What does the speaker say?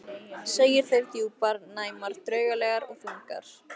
Segir þær djúpar, næmar, draugalegar og þungar.